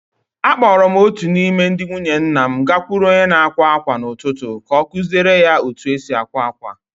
Akpọọrọ m otu n’ime ndị nwunye nna m gakwuru onye na-akwa ákwà n’ụtụtụ ka ọ kụziere ya otú e si akwa akwa.